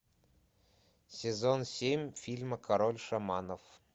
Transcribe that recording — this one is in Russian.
сезон семь фильма король шаманов